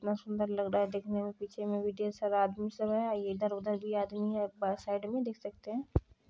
बहुत सुन्दर लग रहा है देखने मे पीछे मे भी ढेर सारा आदमी सब है आ इधर उधर भी आदमी है बस साइड मे देख सकते हैं।